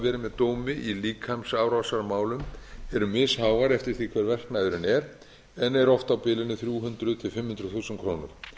verið með dómi í líkamsárásarmálum eru misháar eftir því hver verknaðurinn er en er oft á bilinu þrjú hundruð til fimm hundruð þúsund krónur